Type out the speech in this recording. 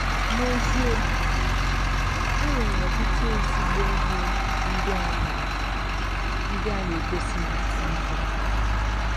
N’ezie, e nwere ọtụtụ ezigbo ihe ndị a na ndị a na - egosi na TV.